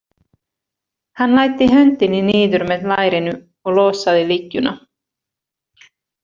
Hann læddi höndinni niður með lærinu og losaði lykkjuna.